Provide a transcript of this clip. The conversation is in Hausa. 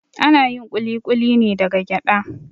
Ana yin kulikuli ne daga gyaɗa